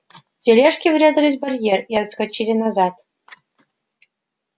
тележки врезались в барьер и отскочили назад